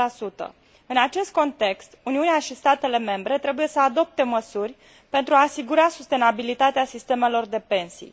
10. În acest context, Uniunea și statele membre trebuie să adopte măsuri pentru a asigura sustenabilitatea sistemelor de pensii.